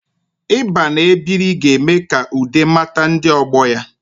Ịba na-ebiri ga-eme ka Ude mata ndi ogbo ya